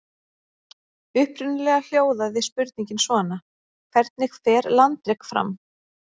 Upprunalega hljóðaði spurningin svona: Hvernig fer landrek fram?